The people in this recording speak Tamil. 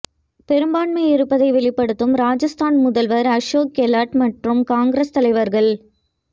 பெரும்பான்மை இருப்பதை வெளிப்படுத்தும் ராஜஸ்தான் முதல்வர் அசோக் கெலாட் மற்றும் காங்கிரஸ் தலைவர்கள்